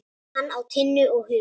Hann á Tinnu og Huga.